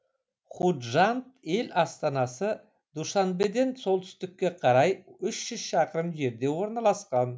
худжанд ел астанасы душанбеден солтүстікке қарай шақырым жерде орналасқан